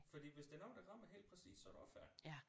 Fordi hvis der er noget der rammer helt præcis så er du også færdig